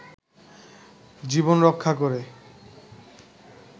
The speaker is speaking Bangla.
জীবন রক্ষা করে